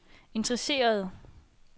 interesserede